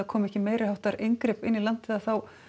koma meiriháttar inngrip í landið að þá